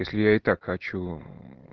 если я и так хочу